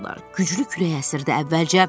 Güclü külək əsirdi əvvəlcə.